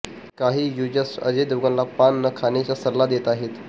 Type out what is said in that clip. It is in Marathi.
काही युझर्स अजय देवगनला पान न खाण्याचा सल्ला देत आहेत